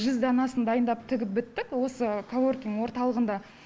жүз данасын дайындап тігіп біттік осы колоркинг орталығында